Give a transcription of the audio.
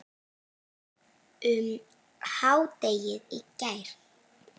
um hádegið í gær.